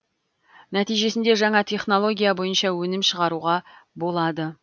нәтижесінде жаңа технология бойынша өнім шығаруға болады